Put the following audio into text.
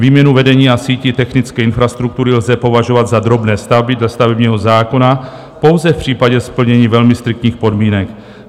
Výměnu vedení a sítí technické infrastruktury lze považovat za drobné stavby dle stavebního zákona pouze v případě splnění velmi striktních podmínek.